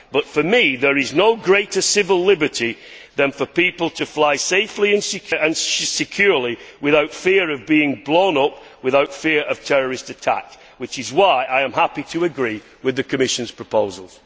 But for me there is no greater civil liberty than for people to fly safely and securely without fear of being blown up, without fear of terrorist attack, which is why I am happy to agree with the Commission's proposals.